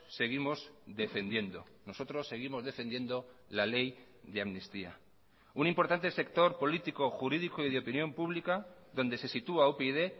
seguimos defendiendo nosotros seguimos defendiendo la ley de amnistía un importante sector político jurídico y de opinión pública donde se sitúa upyd